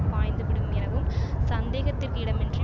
பாய்ந்துவிடும் எனவும் சந்தேகத்திற்கிடமின்றி